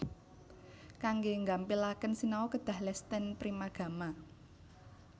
Kangge nggampilaken sinau kedah les ten Primagama